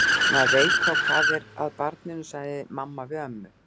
Maður veit þá hvað er að barninu, sagði mamma við ömmu.